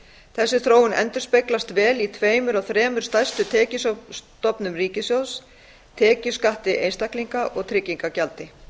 þessi þróun endurspeglast vel í tveimur af þremur stærstu tekjustofnum ríkissjóðs tekjuskatti einstaklinga og tryggingagjaldi